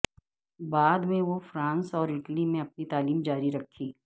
بعد میں وہ فرانس اور اٹلی میں اپنی تعلیم جاری رکھی